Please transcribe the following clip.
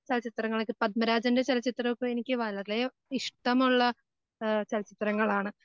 ചലച്ചിത്രങ്ങളൊക്കെ പത്മരാജൻ്റെ ചലച്ചിത്രങ്ങമൊക്കെ എനിക്ക് വളരെ ഇഷ്ടമുള്ള ഏഹ് ചലച്ചിത്രങ്ങളാണ്.